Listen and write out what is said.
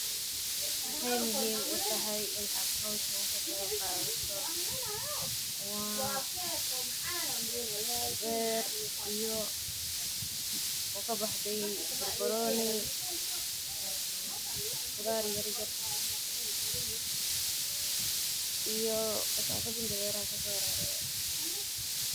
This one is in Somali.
Maxee muhiim u tahay in aa hoshan k qeb qadato hoshan maxa waye qashin iyo qudhar yar yar sitha bar baroni nanya iyo qashin qashin kale waye.